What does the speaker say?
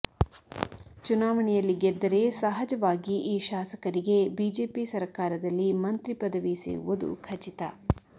ಚುನಾವಣೆಯಲ್ಲಿ ಗೆದ್ದರೆ ಸಹಜವಾಗಿ ಈ ಶಾಸಕರಿಗೆ ಬಿಜೆಪಿ ಸರಕಾರದಲ್ಲಿ ಮಂತ್ರಿ ಪದವಿ ಸಿಗುವುದು ಖಚಿತ